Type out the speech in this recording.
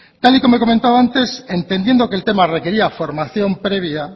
tal y como he comentado antes entendiendo que el tema requería formación previa